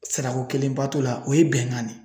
Sarako kelenba to la, o ye bɛnkan de ye.